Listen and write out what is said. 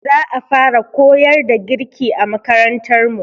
Za a fara koyar da girki a makarantar mu.